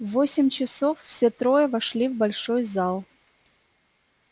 в восемь часов все трое вошли в большой зал